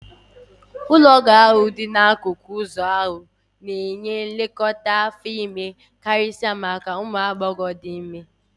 Ụlọọgwụ ahụ dị n'akụkụ okporo ụzọ ahụ na-enye nlekọta afọ ime karịsịa maka ụmụ agbọghọ dị ime